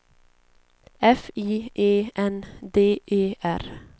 F I E N D E R